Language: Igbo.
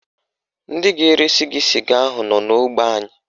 Ndị ga-eresi gị sịga ahụ nọ n'ógbè anyị